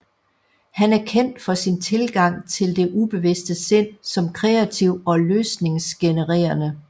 Han er kendt for sin tilgang til det ubevidste sind som kreativ og løsningsgenererende